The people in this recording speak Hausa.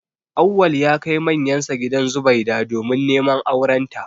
Auwal ya kai manyansa gidan Zubaida domin neman aurenta